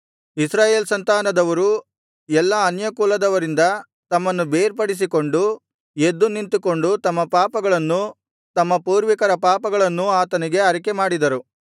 ಇಸ್ರಾಯೇಲ್ ಸಂತಾನದವರು ಎಲ್ಲಾ ಅನ್ಯಕುಲದವರಿಂದ ತಮ್ಮನ್ನು ಬೇರ್ಪಡಿಸಿಕೊಂಡು ಎದ್ದು ನಿಂತುಕೊಂಡು ತಮ್ಮ ಪಾಪಗಳನ್ನೂ ತಮ್ಮ ಪೂರ್ವಿಕರ ಪಾಪಗಳನ್ನೂ ಆತನಿಗೆ ಅರಿಕೆಮಾಡಿದರು